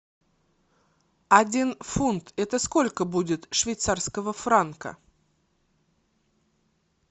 один фунт это сколько будет швейцарского франка